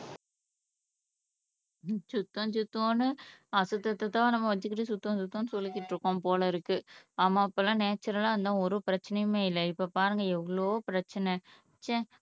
சுத்தம் சுத்தம் என்று அசுத்தத்தை தான் வச்சுக்கிட்டு தான் நம்ம சுத்தம் சுத்தம்னு சொல்லிக்கிட்டு இருக்கோம் போல இருக்கு ஆமா அப்போலாம் நேச்சுரலா இருந்தோம் ஒரு பிரச்சனையுமே இல்ல இப்ப பாருங்க எவ்வளவு பிரச்சனை ச்ச